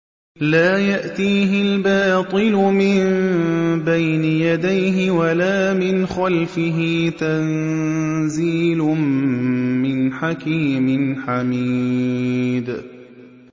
لَّا يَأْتِيهِ الْبَاطِلُ مِن بَيْنِ يَدَيْهِ وَلَا مِنْ خَلْفِهِ ۖ تَنزِيلٌ مِّنْ حَكِيمٍ حَمِيدٍ